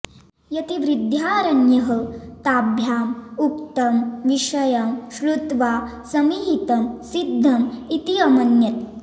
यतिर्विद्यारण्यः ताभ्याम् उक्तं विषयं श्रुत्वा समीहितं सिद्धं इति अमन्यत